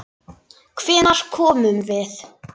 Hvenær komum við?